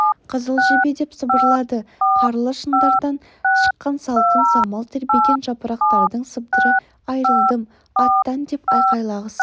қызыл жебе деп сыбырлады қарлы шындардан шыққан салқын самал тербеген жапырақтардың сыбдыры айрылдым аттан деп айқайлағысы